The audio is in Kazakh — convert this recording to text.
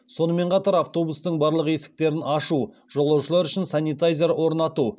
сонымен қатар автобустың барлық есіктерін ашу жолаушылар үшін санитайзер орнату